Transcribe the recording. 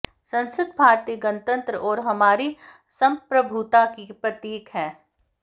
संसद भारतीय गणतंत्र और हमारी संप्रभुता की प्रतीक है